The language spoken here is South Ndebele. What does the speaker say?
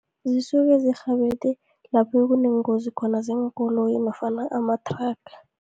Zisuke zirhabele lapho kuneengozi khona zeenkoloyi, nofana amathraga.